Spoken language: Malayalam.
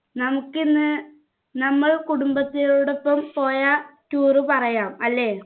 നമുക്കിന്ന് നമ്മൾ കുടുംബത്തിനോടൊപ്പം പോയ tour പറയാം അല്ലെ